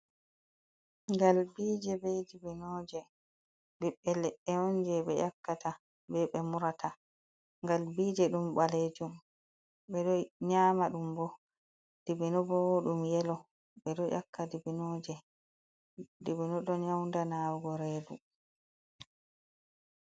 Ngalbije be dibbinoje ɓiɓɓe leɗɗe on jei ɓe yakkata, be ɓe murata galbije ɗum balejum ɓe ɗo nyama ɗum, bo dibbino bo ɗum yelo ɓe ɗo yakka dibbino ɗon yaunda nawugo redu.